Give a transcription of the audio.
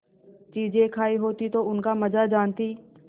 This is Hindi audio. चीजें खायी होती तो उनका मजा जानतीं